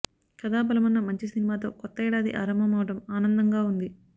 కథా బలమున్న మంచి సినిమాతో కొత్త ఏడాది ఆరంభమవ్వడం ఆనందంగా ఉంది